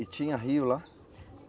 E tinha rio lá?